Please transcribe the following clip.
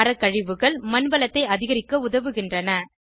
மரக்கழிவுகள் மண் வளத்தை அதிகரிக்க உதவுகின்றன